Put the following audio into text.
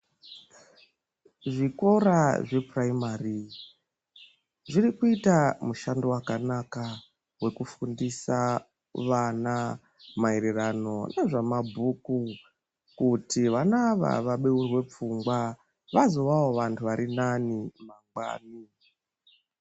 Zvikora zvephuraimari, zviri kuita mushando wakanaka wekufundisa vana maererano nezvemabhuku, kuti vana ava vabeurwe pfungwa, vazowawo vanthu vari nani mangwani.